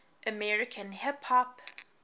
american hip hop